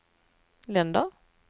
länder